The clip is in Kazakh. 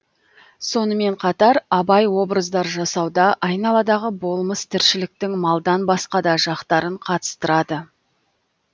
сонымен қатар абай образдар жасауда айналадағы болмыс тіршіліктің малдан басқа да жақтарын қатыстырады